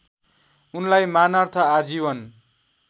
उनलाई मानार्थ आजीवन